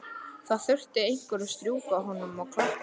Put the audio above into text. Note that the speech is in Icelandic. Það þurfti einhver að strjúka honum og klappa.